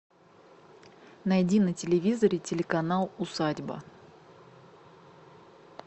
найди на телевизоре телеканал усадьба